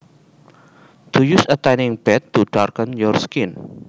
To use a tanning bed to darken your skin